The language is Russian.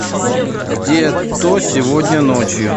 где то сегодня ночью